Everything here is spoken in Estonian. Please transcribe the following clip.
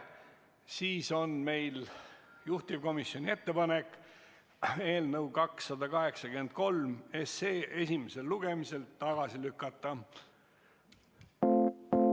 Meil on juhtivkomisjoni ettepanek eelnõu 283 esimesel lugemisel tagasi lükata.